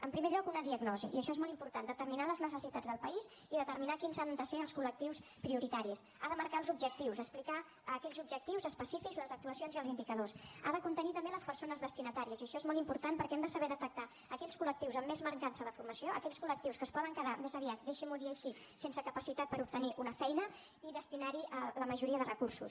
en primer lloc una diagnosi i això és molt important determinar les necessitats del país i determinar quins han de ser els col·lectius prioritaris ha de marcar els objectius explicar aquells objectius específics les actuacions i els indicadors ha de contenir també les persones destinatàries i això és molt important perquè hem de saber detectar aquells col·lectius amb més mancança de formació aquells col·lectius que es poden quedar més aviat deixi m’ho dir així sense capacitat per obtenir una feina i destinar hi la majoria de recursos